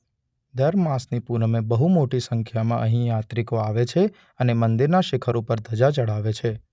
દર માસની પુનમે બહુ મોટી સંખ્યામાં અહીં યાત્રિકો આવે છે અને મંદિરના શિખર ઉપર ધજા ચઢાવે છે.